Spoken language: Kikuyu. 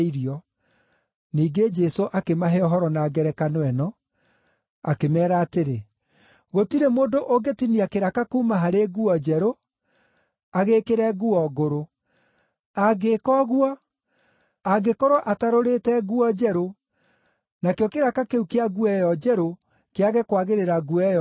Ningĩ Jesũ akĩmahe ũhoro na ngerekano ĩno, akĩmeera atĩrĩ, “Gũtirĩ mũndũ ũngĩtinia kĩraka kuuma harĩ nguo njerũ, agĩĩkĩre nguo ngũrũ. Angĩĩka ũguo, angĩkorwo atarũrĩte nguo njerũ, nakĩo kĩraka kĩu kĩa nguo ĩyo njerũ kĩage kwagĩrĩra nguo ĩyo ngũrũ.